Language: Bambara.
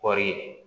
Kɔɔri